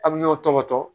A bɛ ɲɔn tɔbɔtɔ